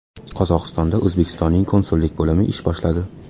Qozog‘istonda O‘zbekistonning konsullik bo‘limi ish boshladi.